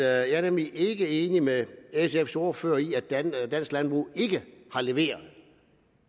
jeg er nemlig ikke enig med sfs ordfører i at dansk landbrug ikke har leveret